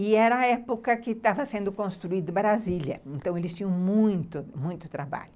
E era a época que estava sendo construída Brasília, então eles tinham muito, muito trabalho.